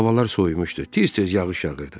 Havalar soyumuşdu, tez-tez yağış yağırdı.